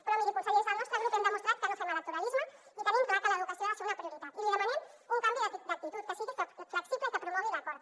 però miri conseller des del nostre grup hem demostrat que no fem electoralisme i tenim clar que l’educació ha de ser una prioritat i li demanem un canvi d’actitud que sigui flexible i que promogui l’acord